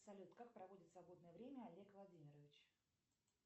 салют как проводит свободное время олег владимирович